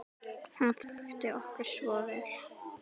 Hún þekkti okkur svo vel.